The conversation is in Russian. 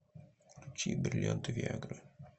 включи бриллианты виа гры